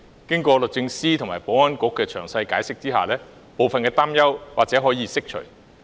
經過律政司和保安局的詳細解釋，部分擔憂或可釋除。